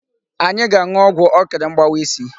Anyị ga-aṅụọgwụ ọkịrị mgbawa isi.